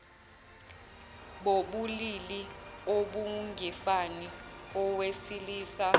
bobulili obungefani owesilisa